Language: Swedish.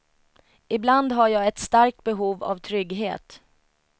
Ibland har jag ett starkt behov av trygghet.